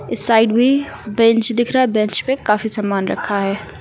इस साइड भी बेंच दिख रहा है बेंच पे काफी सामान रखा है।